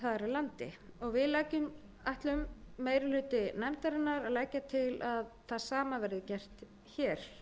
landi meiri hluti nefndarinnar ætlar að leggja til að það sama verði gert hér